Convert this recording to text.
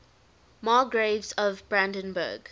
margraves of brandenburg